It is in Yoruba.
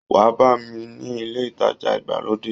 Wá bá mi ni ilé ìtajà ìgbàlódé